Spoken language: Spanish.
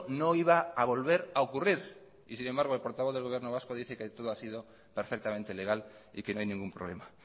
no iba a volver a ocurrir y sin embargo el portavoz del gobierno vasco dice que todo ha sido perfectamente legal y que no hay ningún problema